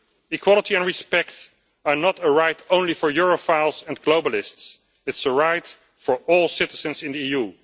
Equality and respect are not a right only for Europhiles and globalists they are a right for all citizens in the